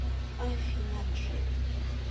афина джей